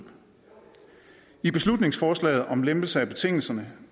i beslutningsforslaget om lempelser af betingelserne